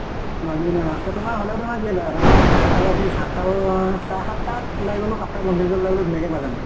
বাকী এনেই ৰাস্তা তোমাৰ হʼলেও, তোমাৰ কিনো, তোমাৰ চাৰে আঠ তা ত office সাত তা চাৰে সাত তা ওলাই গʼলো। সাত তা পঞ্চল্লিশ ওলাই দিলেও ধুনীয়া কে পাই যামগে ।